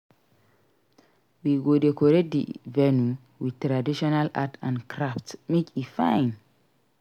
We go decorate di venue with traditional art and crafts make e fine.